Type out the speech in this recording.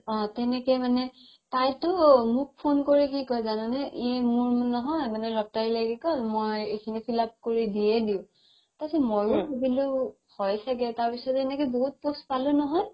অ তেনেকে মানে তাইটো মোক phone কৰি কি কই জানা নে ই মোৰ নহয় lottery লাগি গ'ল মই এখিনি fill up কৰি দিয়ে দিও তাৰ পিছত মইও ভালিলো হয় চাগে তাৰ পিছত এনেকে বহুত post পালো নহয়